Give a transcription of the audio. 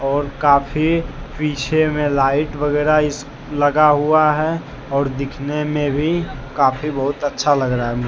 और काफी पीछे में लाइट वगैरा इस लगा हुआ है और दिखने में भी काफी बहुत अच्छा लग रहा है।